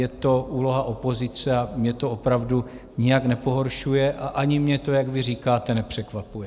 Je to úloha opozice a mě to opravdu nijak nepohoršuje a ani mě to, jak vy říkáte, nepřekvapuje.